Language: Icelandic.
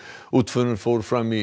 útförin fór fram í